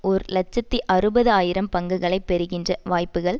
ஒரு இலட்சத்தி அறுபது ஆயிரம் பங்குகளை பெறுகின்ற வாய்ப்புக்கள்